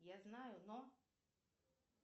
я знаю но